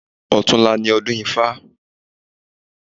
Ọ̀tunla ni ọdún ifá.